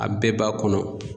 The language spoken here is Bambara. A bɛɛ b'a kɔnɔ.